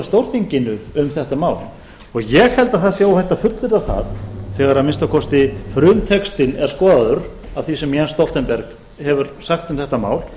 stórþinginu um þetta mál ég held að það sé óhætt að fullyrða það þegar að minnsta kosti frumtextinn er skoðaður af því sem jens stoltenberg hefur sagt um þetta mál